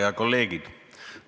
Head kolleegid!